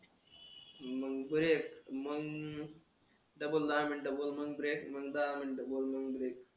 मग करू एक मग double दहा मिनिटं बनवून break, मग दहा मिनिटं बोलून break